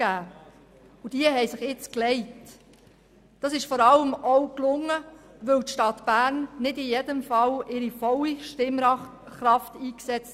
Dies hat sich nun gelegt, und es ist vor allem auch gelungen, weil die Stadt Bern nicht in jedem Fall ihre volle Stimmkraft einsetzt.